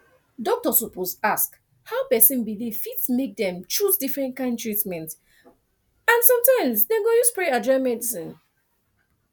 doctor suppose ask how person belief fit make dem choose different kyn treatment and sometimes dem go use prayer join medicine